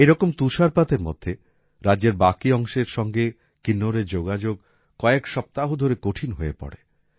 এইরকম তুষারপাতের মধ্যে রাজ্যের বাকি অংশের সঙ্গে কিন্নৌরের যোগাযোগ কয়েক সপ্তাহ ধরে কঠিন হয়ে পড়ে